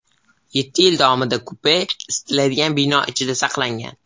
Yetti yil davomida kupe isitiladigan bino ichida saqlangan.